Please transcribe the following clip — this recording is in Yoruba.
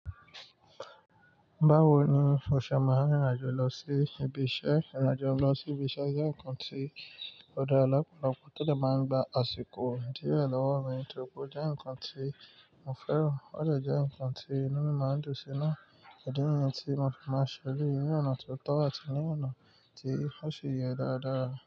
Báwo ni o ṣe máa rìn rìn àjò lọ sí ibi iṣẹ́? Ìrìn àjò lọ sí ibi iṣẹ́ jẹ́ nǹkan tí ó dá ọ̀pọ̀lọpọ̀ tó dè máa gba àsìkò díẹ̀ lọ́wọ́ mi, tóri pé o jẹ́ nǹkan tí mo fẹ́ràn. Ó dẹ́ jẹ́ nǹkan tí inú mi máa ń dùn sí naá. Ìdí niyí ni tí mo fi máa ṣe eléyìí ní ọ̀nà tó tọ́ àti ní ọ̀nà tí ọ́ ṣi yẹ dáadáa.